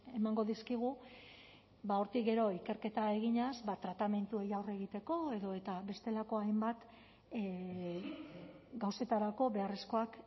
emango dizkigu hortik gero ikerketa eginez tratamenduei aurre egiteko edota bestelako hainbat gauzetarako beharrezkoak